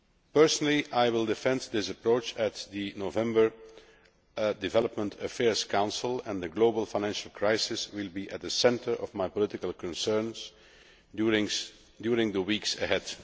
Personally, I will defend this approach at the November Development Affairs Council, and the global financial crisis will be at the centre of my political concerns during the weeks ahead.